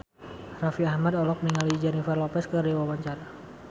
Raffi Ahmad olohok ningali Jennifer Lopez keur diwawancara